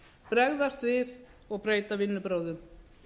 bregðast við og breyta vinnubrögðum